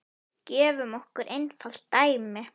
Gefum okkur einfalt dæmi.